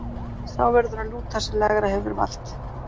Sá verður að lúta sem lægra hefur vald.